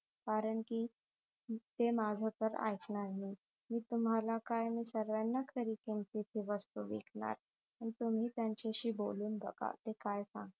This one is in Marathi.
कारण कि ते माझ तर आईकणार नाहीत मी तुम्हाला काय सर्वांनाच खरी किमतीत वस्तू विकणार पण तुम्ही त्यांच्याशी बोलून बघा ते काय